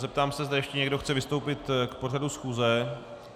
Zeptám se, zda ještě někdo chce vystoupit k pořadu schůze.